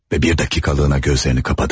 Və bir dəqiqəliyinə gözlərini qapadı.